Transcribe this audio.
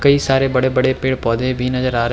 कई सारे बड़े-बड़े पेड़-पौधे भी नजर आ रहे --